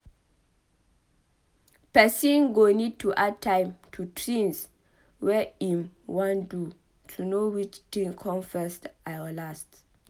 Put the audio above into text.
Person go need to add time to tins wey im wan do to know which tin come first or last